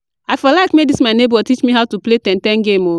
I for like make dis my nebor teach me how to play ten - ten game o